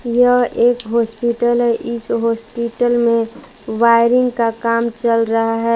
यह एक हॉस्पिटल है इस हॉस्पिटल में वायरिंग का काम चल रहा है।